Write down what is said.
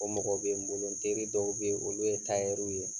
O mɔgɔ bɛ n bolo n teri dɔw bɛ yen olu ye ye.